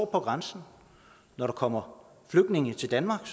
på grænsen når der kommer flygtninge til danmark